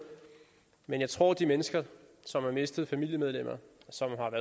men jeg tror at de mennesker som har mistet familiemedlemmer som